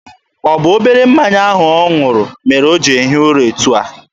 Ọ bụ obere mmanya ahụ ọ ṅụrụ mere o ji ehi ụra etu a?